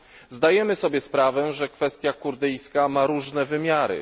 Zdajemy sobie sprawę, że kwestia kurdyjska ma różne wymiary.